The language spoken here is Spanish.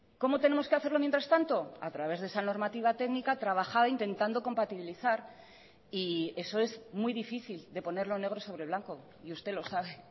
cómo tenemos que hacerlo mientras tanto a través de esa normativa técnica trabajada intentando compatibilizar y eso es muy difícil de ponerlo negro sobre blanco y usted lo sabe